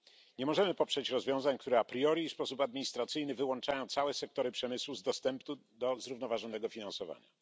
Nie możemy poprzeć rozwiązań, które a priori i w sposób administracyjny wyłączają całe sektory przemysłu z dostępu do zrównoważonego finansowania.